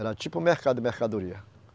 Era tipo mercado mercadoria.